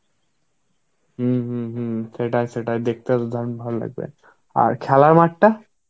হম হম হম সেটাই সেটাই দেখতে তো দারুণ ভালো লাগবে. আর খেলার মাঠটা?